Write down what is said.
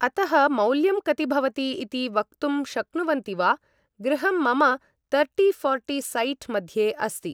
अतः मौल्यं कति भवति इति वक्तुं शक्नुवन्ति वा गृहं मम तर्टि फो़र्टि सैट् मध्ये अस्ति ।